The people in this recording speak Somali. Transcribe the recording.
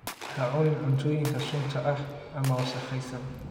Ha cunin cuntooyinka sunta ah ama wasakhaysan.